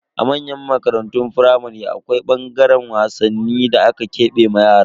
A manyan makarantun firamare, akwai ɓangaren wasanni da aka kebe wa yara.